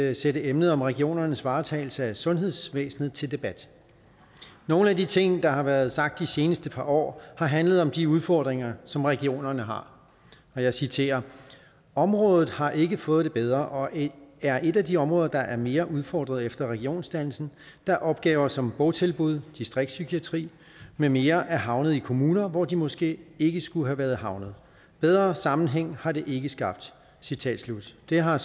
at sætte emnet om regionernes varetagelse af sundhedsvæsenet til debat nogle af de ting der har været sagt de seneste par år har handlet om de udfordringer som regionerne har jeg citerer området har ikke fået det bedre og er et af de områder der er mere udfordret efter regionsdannelsen da opgaver som botilbud distriktspsykiatri med mere er havnet i kommuner hvor de måske ikke skulle være havnet bedre sammenhæng har det ikke skabt citat slut det har